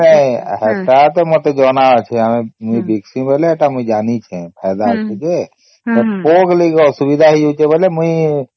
ନାଇଁ ନାଇଁ ହେଟା ତ ମତେ ଜଣା ଅଛି ଆମେ ମୁଇ ଦିଖିସ ବୋଲି ସେଟା ମୁଇ ଜାଣିଛେ ଫାଇଦା ଅଛି ଯେ ହେଲେ ପୋକ ଲାଗିକି ଅସୁବିଧା ହେଇ ଯାଉଛେ ବୋଲି ମୁଇ